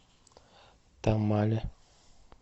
тамале